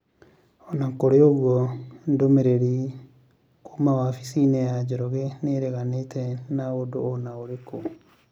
O na kũrĩ ũguo, ndũmĩrĩri kuuma wabici-inĩ ya njoroge nĩ ĩreganĩte na ũndũ o na ũrĩkũ.